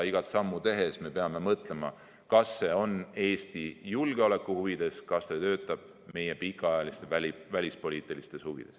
Igat sammu tehes me peame mõtlema, kas see on Eesti julgeolekuhuvides ja kas see töötab meie pikaajalistes välispoliitilistes huvides.